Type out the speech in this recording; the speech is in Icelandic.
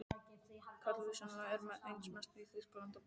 Kalívinnsla er einna mest í Þýskalandi og Bandaríkjunum.